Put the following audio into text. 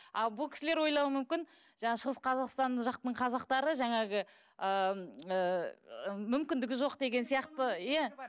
ал бұл кісілер ойлауы мүмкін жаңағы шығыс қазақстан жақтың қазақтары жаңағы ыыы мүмкіндігі жоқ деген сияқты иә